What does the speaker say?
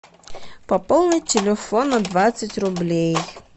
пополнить телефон на двадцать рублей